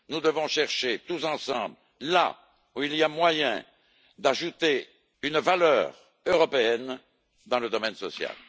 Nous devons chercher, tous ensemble, là où il y a moyen d'ajouter une valeur européenne dans le domaine social.